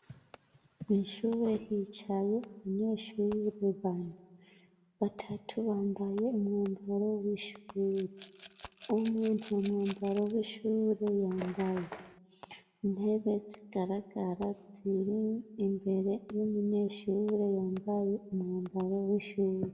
Ishure hicaye umunyeshure bantu batatu bambaye umwambaro w'ishure umwe nta mwambaro w'ishure yambaye intebe zigaragara ziri imbere y'umunyeshure yambaye umwambaro w'ishure.